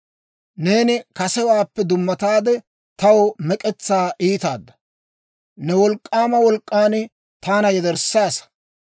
Neeni kasewaappe dummataade, taw mek'etsaa iitaada; ne wolk'k'aama wolk'k'an taana yederssaasa.